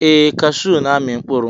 Ee, cashew n'ami mkpụrụ.